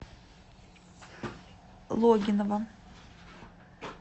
логинова